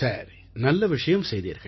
சரி நல்ல விஷயம் செய்தீர்கள்